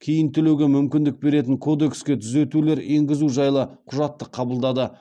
кейін төлеуге мүмкіндік беретін кодекске түзетулер енгізу жайлы құжатты қабылдады